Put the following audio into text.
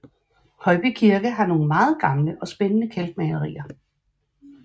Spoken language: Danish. Højby Kirke har nogle meget gamle og spændende kalkmalerier